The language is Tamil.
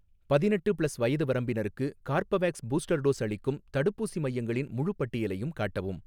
பதினெட்டு ப்ளஸ் வயது வரம்பினருக்கு கார்பவேக்ஸ் பூஸ்டர் டோஸ் அளிக்கும் தடுப்பூசி மையங்களின் முழுப் பட்டியலையும் காட்டவும்